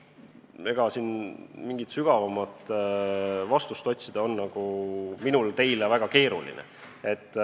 Siin on minul teile mingit sügavamat vastust otsida väga keeruline.